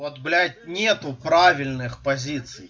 вот блять нету правильных позиций